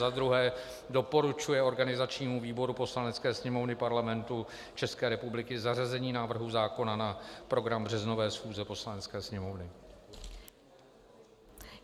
Za druhé doporučuje organizačnímu výboru Poslanecké sněmovny Parlamentu České republiky zařazení návrhu zákona na program březnové schůze Poslanecké sněmovny.